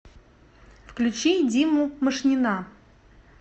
включи диму машнина